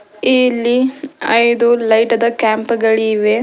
ಇಲ್ಲಿ ಐದು ಲೈಟದ ಕ್ಯಾಂಪ್ ಗಳಿವೆ.